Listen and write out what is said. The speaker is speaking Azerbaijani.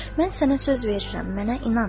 Mən sənə söz verirəm, mənə inan.